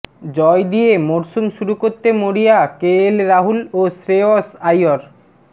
জয় দিয়ে মরসুম শুরু করতে মরিয়া কেএল রাহুল ও শ্রেয়স আইয়র